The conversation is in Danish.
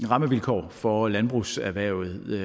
rammevilkår for landbrugserhvervet